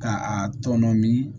Ka a tɔn min